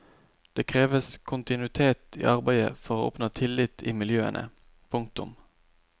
Det kreves kontinuitet i arbeidet for å oppnå tillit i miljøene. punktum